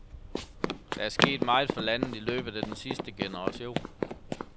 Der er sket meget for landet i løbet af den sidste generation.